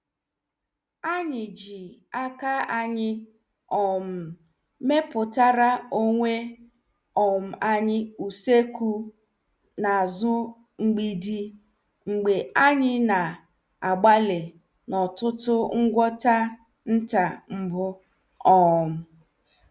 Anyị ji aka anyị um mepụtara onwe um anyị usoekwu n' azụ mgbidi mgbe anyị na- agbali n' ọtụtụ ngwọta nta mbụ. um